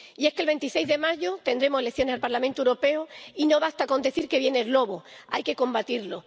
Y es que el 26 de mayo tendremos elecciones al Parlamento Europeo y no basta con decir que viene el lobo, hay que combatirlo.